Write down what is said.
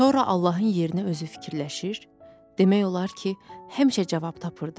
Sonra Allahın yerinə özü fikirləşir, demək olar ki, həmişə cavab tapırdı.